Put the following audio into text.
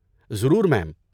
ضرور میم۔